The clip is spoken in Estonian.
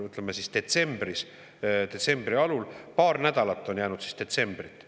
Eeldame, et president kuulutab välja detsembri alul, siis on paar nädalat jäänud detsembrit.